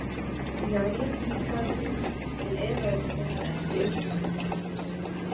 Jæja, sagði hún en efaðist raunar ekki um það.